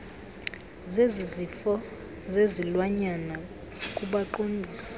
zezifo zezilwanyana kubaqondisi